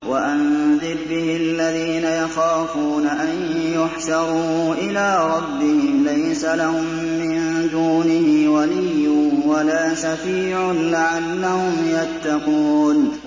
وَأَنذِرْ بِهِ الَّذِينَ يَخَافُونَ أَن يُحْشَرُوا إِلَىٰ رَبِّهِمْ ۙ لَيْسَ لَهُم مِّن دُونِهِ وَلِيٌّ وَلَا شَفِيعٌ لَّعَلَّهُمْ يَتَّقُونَ